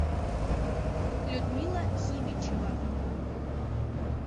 людмила химичева